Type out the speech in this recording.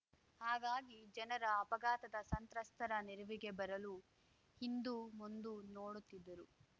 ಹಾಗಾಗಿ ಜನರ ಅಪಘಾತದ ಸಂತ್ರಸ್ತರ ನೆರವಿಗೆ ಬರಲು ಹಿಂದು ಮುಂದು ನೋಡುತ್ತಿದ್ದರು